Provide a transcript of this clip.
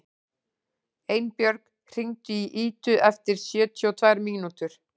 Einbjörg, hringdu í Idu eftir sjötíu og tvær mínútur.